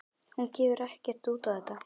Hún gefur ekkert út á þetta.